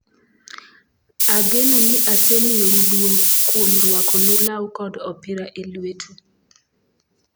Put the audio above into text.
Ageno ni asemiyou duong ' kuom rwakonu law kod opira e lwetu.